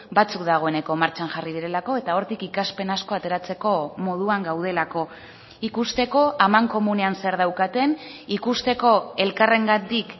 batzuk dagoeneko martxan jarri direlako eta hortik ikaspen asko ateratzeko moduan gaudelako ikusteko amankomunean zer daukaten ikusteko elkarrengatik